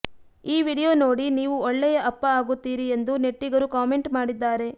ಈ ವಿಡಿಯೋ ನೋಡಿ ನೀವು ಒಳ್ಳೆಯ ಅಪ್ಪ ಆಗುತ್ತೀರಿ ಎಂದು ನೆಟ್ಟಿಗರು ಕಾಮೆಂಟ್ ಮಾಡಿದ್ದಾರೆ